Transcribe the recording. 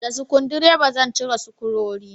Da sukudireba zan cire sukurori